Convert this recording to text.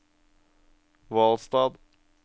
Hvalstad